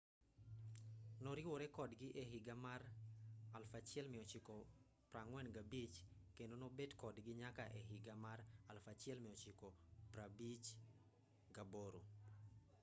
noriwore kodgi e higa mar 1945 kendo nobet kodgi nyaka e higa mar 1958